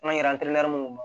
An yɛrɛ